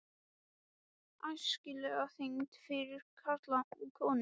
ÆSKILEG ÞYNGD FYRIR KARLA OG KONUR